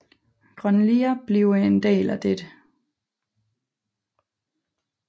Grønlia bliver en del af dette